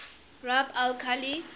rub al khali